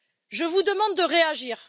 Je vous demande de réagir.